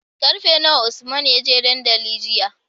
Karfe nawa usman yaje dandali jiya?